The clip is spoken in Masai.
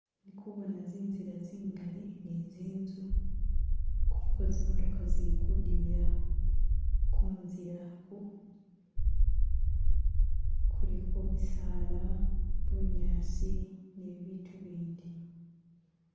Ndi kubona zinzila zingali ni zinzu kuliko zi'motoka zili kudimila kunzila oku kuliko misaala, bunyaasi ni bibitu ibindi.